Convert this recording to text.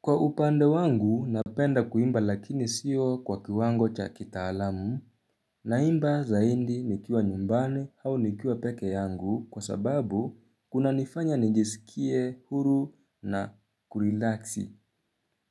Kwa upande wangu, napenda kuimba lakini siyo kwa kiwango cha kitaalamu. Naimba zaindi nikiwa nyumbani au nikiwa peke yangu kwa sababu kunanifanya nijisikie huru na kurilaksi.